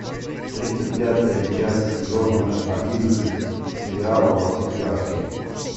тридцать пятая часть сезона одиннадцать сериала во все тяжкие